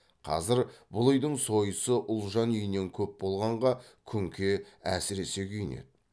қазір бұл үйдің сойысы ұлжан үйінен көп болғанға күнке әсіресе күйінеді